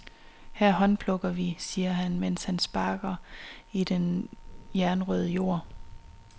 Her håndplukker vi, siger han, mens han sparker i den jernrøde jord.